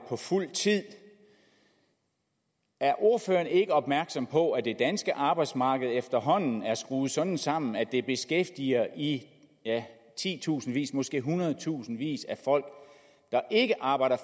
på fuld tid er ordføreren ikke opmærksom på at det danske arbejdsmarked efterhånden er skruet sådan sammen at det beskæftiger i titusindvis ja måske i hundredtusindvis af folk der ikke arbejder